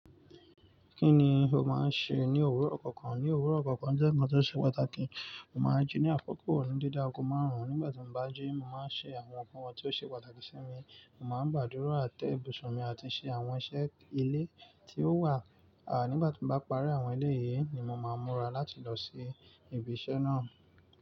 Kí ni o máa ń ṣe ní òwúrọ̀ kọ̀ọ̀kan? Ní òwúrọ̀ kọ̀ọ̀kan jẹ́ ǹkan tó ṣe pàtàkì, mo màá jí ní àkókò ní déédéé aago máàrún. Nígbà tí mo bá jí, màá ṣe àwọn nǹkan tí ó ṣe pàtàkì sí mi, mo màá ń gbàdúrà, tẹ ibùsùn mi àti ṣe àwọn iṣẹ́ ilé tí ó wà. À, nígbà tí bá parí àwọn eléyìí ni mo máa múra láti lọ sí ibi iṣẹ́ náà.